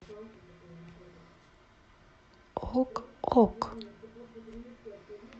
ок ок